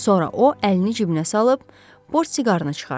Sonra o əlini cibinə salıb, portsiqarını çıxardı.